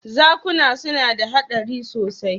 Zakuna suna da haɗari sosai.